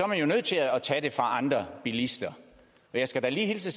man jo nødt til at tage det fra andre bilister og jeg skal da lige hilse